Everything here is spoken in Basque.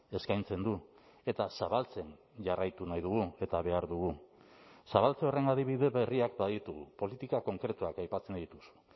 eskaintzen du eta zabaltzen jarraitu nahi dugu eta behar dugu zabaltze horren adibide berriak baditugu politika konkretuak aipatzen dituzu